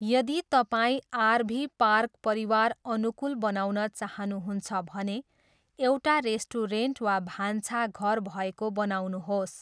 यदि तपाईँ RV park परिवार अनुकूल बनाउन चाहनुहुन्छ भने एउटा रेस्टुरेन्ट वा भान्छाघर भएको बनाउनुहोस्।